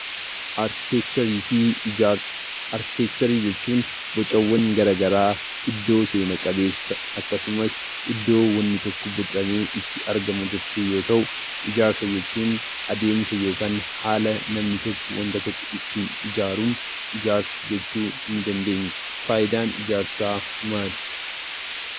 Arkiteekcharii jechuun gochawwan gara garaa iddoo seena qabeessa akkasumas iddoo wanni tokko bocamee itti argamu jechuu yoo ta'u, ijaarsa jechuun adeemsa yookaan haala namni tokko waanta tokko ittiin ijaaruun ijaarsa jechuu ni dandeenya. Faayidaan ijaarsaa maali?